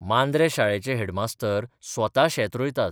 मांद्रे शाळेचे हेडमास्तर स्वता शेत रोयतात.